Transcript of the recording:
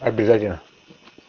обязательно